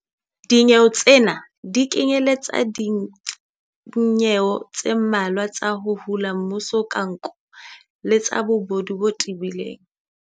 Dinyewe tsena di kenyeletsa dinyewe tse mmalwa tsa 'ho hula mmuso ka nko' le tsa bobodu bo tebileng.